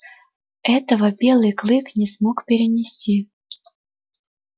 этого белый клык не смог перенести